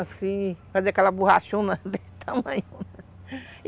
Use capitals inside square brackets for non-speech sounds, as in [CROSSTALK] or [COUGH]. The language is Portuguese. Assim, fazer aquela [LAUGHS] borrachona desse tamanho.